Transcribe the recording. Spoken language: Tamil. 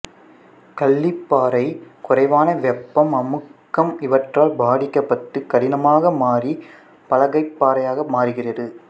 களிப்பாறை குறைவான வெப்பம் அமுக்கம் இவற்றால் பாதிக்கப்பட்டு கடினமாக மாறி பலகைப்பாறையாக மாறுகிறது